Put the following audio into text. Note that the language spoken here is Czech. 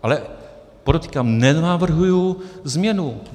Ale podotýkám, nenavrhuji změnu.